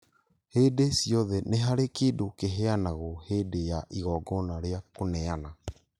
Hingo ciothe nĩ harĩ kĩndũ kĩheanagwo hĩndĩ ya igongona rĩa kũneana.